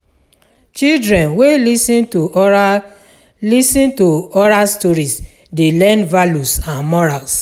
Children wey lis ten to oral lis ten to oral stories dey learn values and morals.